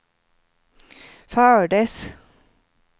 fördes